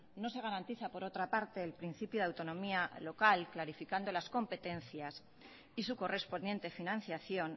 no se garantiza por otra parte el principio de autonomía local clarificando las competencias y su correspondiente financiación